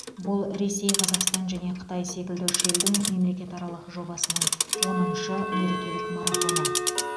бұл ресей қазақстан және қытай секілді үш елдің мемлекетаралық жобасының оныншы мерекелік марафоны